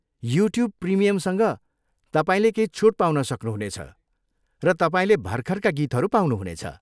YouTube प्रिमियमसँग, तपाईँले केही छुट पाउन सक्नुहुनेछ, र तपाईँले भर्खरका गीतहरू पाउनुहुनेछ।